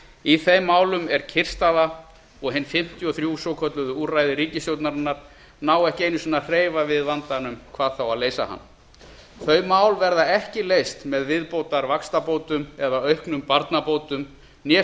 í þeim málum er kyrrstaða og hin fimmtíu og þrjú svokölluðu úrræði ríkisstjórnarinnar ná ekki einu sinn að hreyfa við vandanum hvað þá að leysa hann þau mál verða ekki leyst með viðbótar vaxtabótum eða auknum barnabótum né